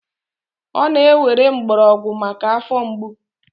ọ na-ewere mgbọrọgwụ maka afọ mgbu